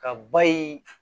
Ka ba ye